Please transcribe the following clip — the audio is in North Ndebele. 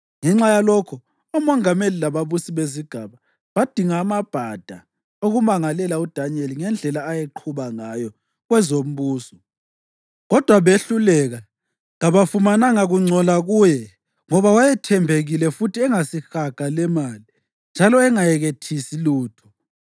Ngenxa yalokho omongameli lababusi bezigaba badinga amabhada okumangalela uDanyeli ngendlela ayeqhuba ngayo kwezombuso, kodwa behluleka. Kabafumananga kungcola kuye ngoba wayethembekile futhi engasihaga lemali njalo engayekethisi lutho.